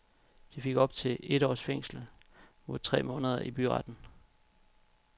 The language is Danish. De fik op til et års fængsel mod tre måneder i byretten.